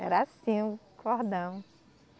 Era assim o cordão.